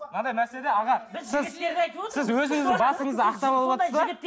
мынадай мәселе аға сіз сіз өзіңіздің басыңызды ақтап алыватсыз да